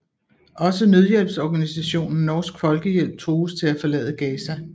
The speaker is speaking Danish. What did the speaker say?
Også nødhjælpsorganisationen Norsk Folkehjælp trues til at forlade Gaza